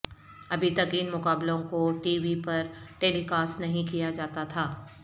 ابھی تک ان مقابلوں کو ٹی وی پر ٹیلی کاسٹ نہیں کیا جاتا تھا